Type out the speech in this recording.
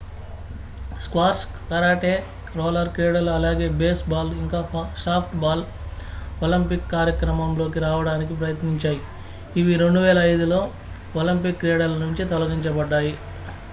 squash karate roller క్రీడలు అలాగే baseball ఇంకా సాఫ్ట్ బాల్ ఒలింపిక్ కార్యక్రమం లోకి రావడానికి ప్రయత్నించాయి ఇవి 2005లో ఒలింపిక్ క్రీడల నుండి తొలగించబడ్డాయి